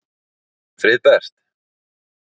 Friðbert